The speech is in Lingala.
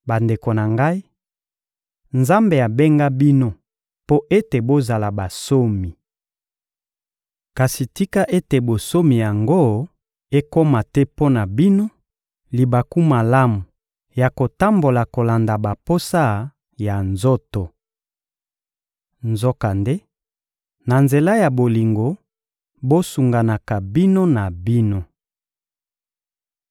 Bandeko na ngai, Nzambe abenga bino mpo ete bozala bansomi. Kasi tika ete bonsomi yango ekoma te mpo na bino libaku malamu ya kotambola kolanda baposa ya nzoto. Nzokande, na nzela ya bolingo, bosunganaka bino na bino.